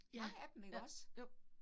Ja, ja, jo